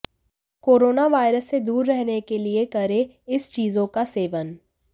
corona virus से दूर रहने के लिए करे इस चीजों का सेवन